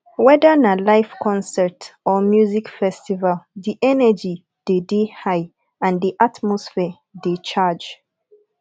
wether na live concert or music festival di energy de dey high and the atmosphere de charge